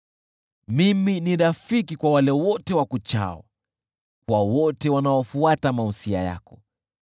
Mimi ni rafiki kwa wale wote wakuchao, kwa wote wanaofuata mausia yako.